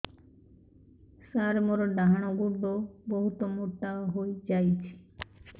ସାର ମୋର ଡାହାଣ ଗୋଡୋ ବହୁତ ମୋଟା ହେଇଯାଇଛି